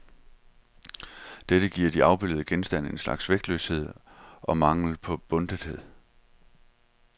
Dette giver de afbillede genstande en slags vægtløshed og mangel på bundethed.